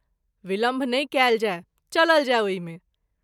विलंब नहिं कयल जाय चलल जाय ओहि मे।